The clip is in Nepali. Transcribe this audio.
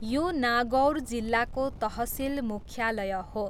यो नागौर जिल्लाको तहसिल मुख्यालय हो।